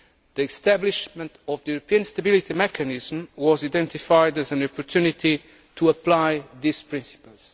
The establishment of the European Stability Mechanism was identified as an opportunity to apply these principles.